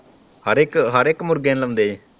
ਹਰ ਇੱਕ ਹਰ ਇੱਕ ਮੁਰਗੇ ਨੂੰ ਲਾਉਂਦੇ ਹੈ।